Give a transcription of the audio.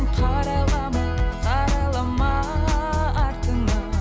қарайлама қарайлама артыңа